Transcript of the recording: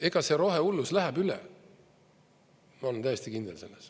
Ega see rohehullus läheb üle, ma olen täiesti kindel selles.